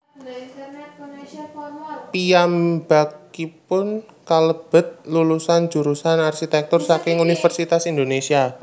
Piyambakipun kalebet lulusan jurusan arsitèktur saking Universitas Indonésia